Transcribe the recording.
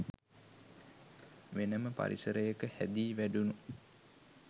වෙනම පරිසරයක හැදී වැඩුණු